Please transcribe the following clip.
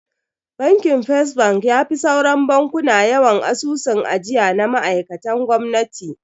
Bakin First bank yafi sauran bankuna yawan asusun ajiya na ma'aikan gwamnati.